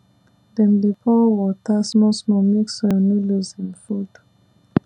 dem dey pour water smallsmall make soil no lose im food